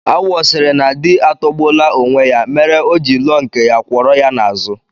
Awọ sịrị na di atọgbuola onwe ya mere o ji lụọ nke ya, kwọrọ ya n'azụ